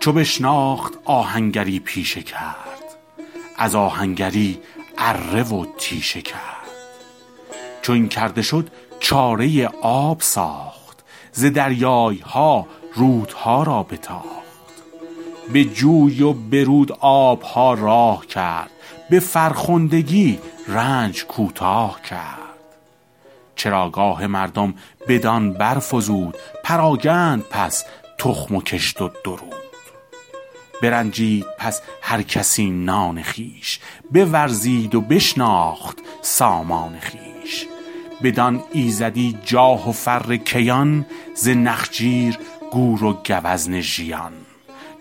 چو بشناخت آهنگری پیشه کرد از آهنگری اره و تیشه کرد چو این کرده شد چاره آب ساخت ز دریای ها رودها را بتاخت به جوی و به رود آب ها راه کرد به فرخندگی رنج کوتاه کرد چراگاه مردم بدان برفزود پراگند پس تخم و کشت و درود برنجید پس هر کسی نان خویش بورزید و بشناخت سامان خویش بدان ایزدی جاه و فر کیان ز نخچیر گور و گوزن ژیان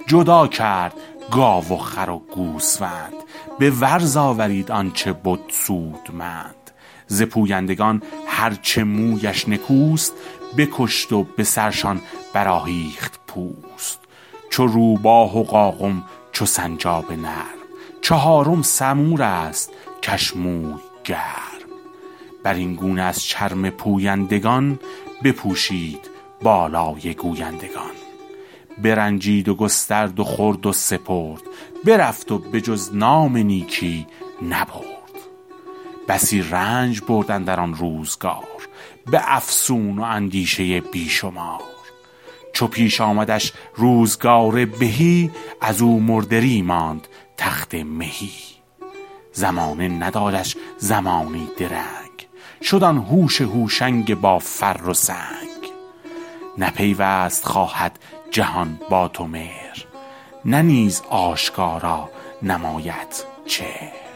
جدا کرد گاو و خر و گوسفند به ورز آورید آن چه بد سودمند ز پویندگان هر چه مویش نکوست بکشت و به سرشان برآهیخت پوست چو روباه و قاقم چو سنجاب نرم چهارم سمور است کش موی گرم بر این گونه از چرم پویندگان بپوشید بالای گویندگان برنجید و گسترد و خورد و سپرد برفت و به جز نام نیکی نبرد بسی رنج برد اندر آن روزگار به افسون و اندیشه بی شمار چو پیش آمدش روزگار بهی از او مردری ماند تخت مهی زمانه ندادش زمانی درنگ شد آن هوش هوشنگ با فر و سنگ نه پیوست خواهد جهان با تو مهر نه نیز آشکارا نمایدت چهر